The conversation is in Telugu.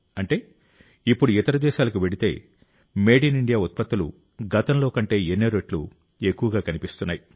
అంటే ఇప్పుడు ఇతర దేశాలకు వెళితే మేడ్ ఇన్ ఇండియా ఉత్పత్తులు గతంలో కంటే ఎన్నో రెట్లు ఎక్కువగా కనిపిస్తున్నాయి